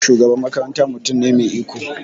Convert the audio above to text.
Shugaban makaranta mutum ne mai iko.